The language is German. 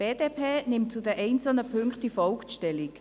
Die BDP nimmt zu den einzelnen Punkten wie folgt Stellung: